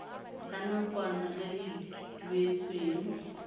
la nakwana le le duetsweng